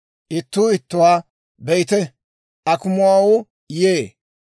Ittuu ittuwaa, «Be'ite! Akumuwaawu yee.